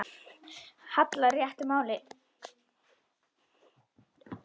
hallar réttu máli.